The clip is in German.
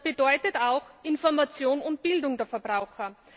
Das bedeutet auch Information und Bildung der Verbraucher.